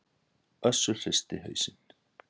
Össur hristi hausinn.